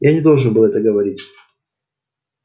я не должен был это говорить